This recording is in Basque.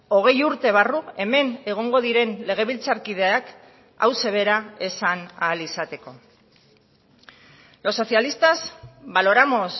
hogei urte barru hemen egongo diren legebiltzarkideak hauxe bera esan ahal izateko los socialistas valoramos